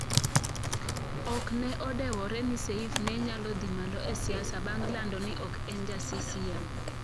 Ok ne odewore ni Seif ne nyalo dhi malo e siasa bang' lando ni ok en ja CCM.